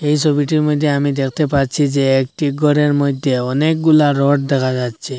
এই ছবিটির মইধ্যে আমি দেখতে পাচ্ছি যে একটি গরের মইধ্যে অনেকগুলা রড দেখা যাচ্ছে।